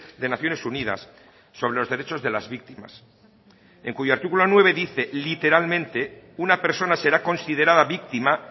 de naciones unidas sobre los derechos de las víctimas en cuyo artículo nueve dice literalmente una persona será considerada víctima